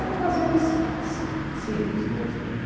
Eram lazeres sim simples. Nós